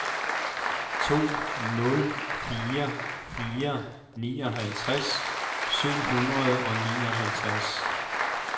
to nul fire fire nioghalvtreds syv hundrede og nioghalvtreds